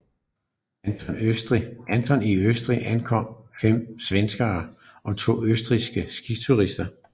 Anton i Østrig omkommer 5 svenske og to østrigske skiturister